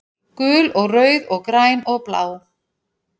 Gul og rauð og græn og blá